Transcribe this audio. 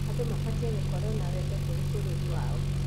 Andũ mabatiĩ gũkorwo na wendo kũrĩ bũrũri wao.